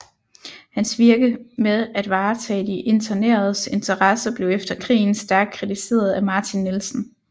Hans virke med at varetage de interneredes interesser blev efter krigen stærkt kritiseret af Martin Nielsen